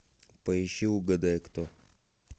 поищи угадай кто